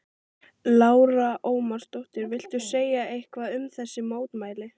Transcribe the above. Lára Ómarsdóttir: Viltu segja eitthvað um þessi mótmæli?